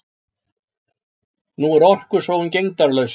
Nú er orkusóun gegndarlaus.